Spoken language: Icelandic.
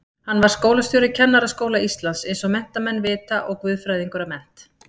Hann var skólastjóri Kennaraskóla Íslands eins og allir menntamenn vita og guðfræðingur að mennt.